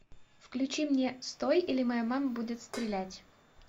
включи мне стой или моя мама будет стрелять